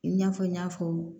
I n'a fɔ n y'a fɔ